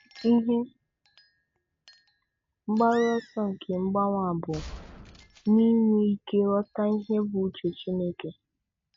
Ihe mgbaru ọsọ nke mgbanwe a bụ na-inwe ike ịghọta ihe bụ uche Chineke.